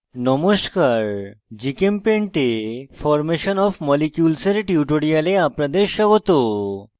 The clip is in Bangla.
নমস্কার gchempaint এ formation of molecules এর tutorial আপনাদের স্বাগত